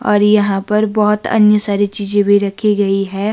और यहां पर बहोत अन्य सारी चीजे भी रखी गई है।